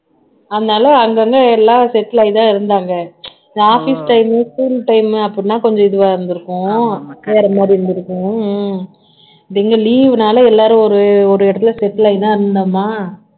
அதனால அங்கங்க எல்லாம் settle ஆகித்தான் இருந்தாங்க office time school time அப்படின்னா கொஞ்சம் இதுவா இருந்திருக்கும் வேற மாதிரி இருந்திருக்கும் எங்க leave னால எல்லாரும் ஒரு ஒரு இடத்துல settle ஆகிதான் இருந்தோமா